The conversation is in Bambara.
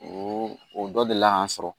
O o dɔ deli la k'an sɔrɔ